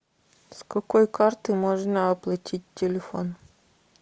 с какой карты можно оплатить телефон